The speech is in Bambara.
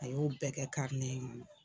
A y'o bɛɛ kɛ